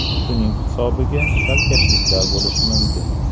Shuning hisobiga chalkashliklar bo‘lishi mumkin.